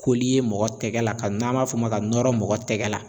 mɔgɔ tɛgɛ la ka n'an m'a fɔ o ma ka nɔrɔ mɔgɔ tɛgɛ la.